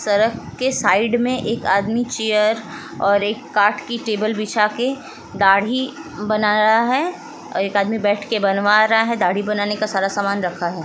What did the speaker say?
सड़क के साइड मे एक आदमी चेयर और एक काठ की टेबल बिछा के दाढ़ी बना रहा है और एक आदमी बैठ के बनवा रहा है दाढ़ी बनाने का सारा सामान रखा है।